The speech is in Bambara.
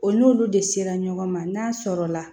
O n'olu de sera ɲɔgɔn ma n'a sɔrɔla